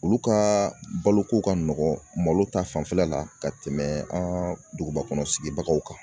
Olu ka baloko ka nɔgɔ malo ta fanfɛla la ka tɛmɛ an duguba kɔnɔ sigibagaw kan.